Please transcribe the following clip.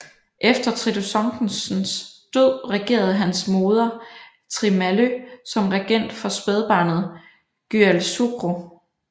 Efter Tridu Songtsens død regerede hans moder Thrimalö som regent for spædbarnet Gyältsugru